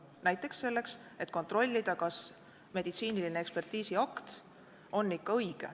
Näiteks selleks, et kontrollida, kas meditsiiniline ekspertiisiakt on ikka õige.